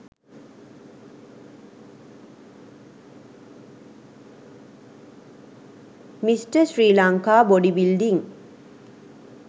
mr sri lanka body building